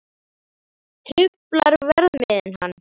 Truflar verðmiðinn hann?